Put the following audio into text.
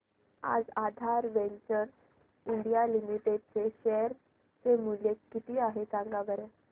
आज Aadhaar ventures India limited चे share चे मूल्य किती आहे सांगा बरं